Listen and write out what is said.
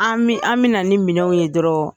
An mi, an mi na ni minɛnw ye dɔrɔn.